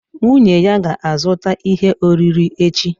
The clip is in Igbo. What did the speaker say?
Nwunye ya ga-azụta ihe oriri echi